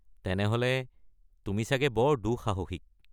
তেনেহ'লে তুমি চাগে বৰ দুঃসাহসিক।